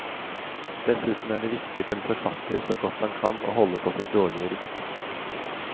Dessuten er det viktig for en forfatter så godt han kan å holde på sitt dårlige rykte.